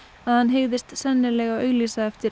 að hann hygðist sennilega auglýsa eftir